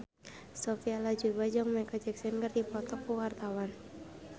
Sophia Latjuba jeung Micheal Jackson keur dipoto ku wartawan